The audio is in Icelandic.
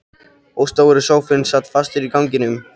Og stóri sófinn sat fastur í ganginum!!